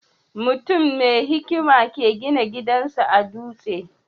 Mutum mai hikima ke gina gidan sa a duste?